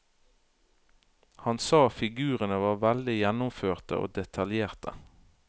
Han sa figurene var veldig gjennomførte og detaljerte.